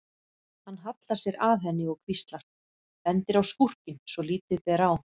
Hann hallar sér að henni og hvíslar, bendir á skúrkinn svo að lítið ber á.